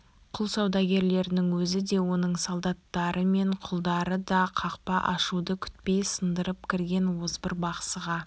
құл саудагерінің өзі де оның солдаттары мен құлдары да қақпа ашуды күтпей сындырып кірген озбыр бақсыға